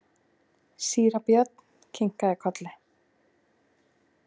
Síra Björn kinkaði kolli.